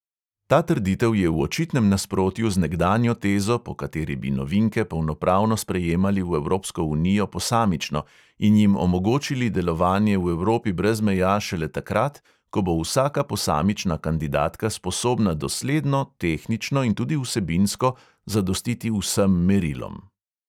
Ta trditev je v očitnem nasprotju z nekdanjo tezo, po kateri bi novinke polnopravno sprejemali v evropsko unijo posamično in jim omogočili delovanje v evropi brez meja šele takrat, ko bo vsaka posamična kandidatka sposobna dosledno, tehnično in tudi vsebinsko zadostiti vsem merilom.